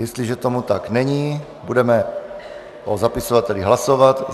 Jestliže tomu tak není, budeme o zapisovatelích hlasovat.